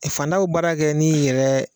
Fantan bɛ baara kɛ n'i yɛrɛ.